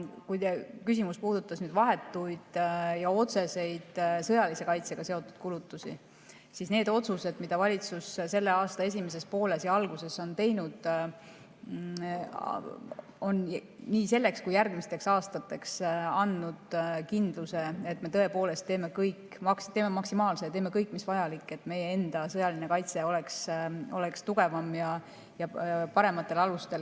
Kui teie küsimus puudutas vahetuid ja otseseid sõjalise kaitsega seotud kulutusi, siis saan öelda, et need otsused, mida valitsus selle aasta esimeses pooles ja alguses on teinud, on nii selleks aastaks kui ka järgmisteks aastateks andnud kindluse, et me tõepoolest teeme kõik, teeme maksimaalse ja teeme kõik, mis vajalik, et meie enda sõjaline kaitse oleks tugevam ja parematel alustel.